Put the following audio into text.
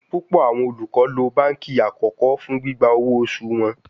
Pupọ awọn olukọ lo banki akọkọ fun gbigba owo osu wọn